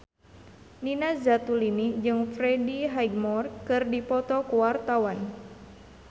Nina Zatulini jeung Freddie Highmore keur dipoto ku wartawan